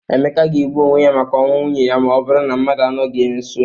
Emeka ga-egbu onwe ya maka ọnwụ nwunye ya ma ọ burụ na mmadụ anọghị ya nso.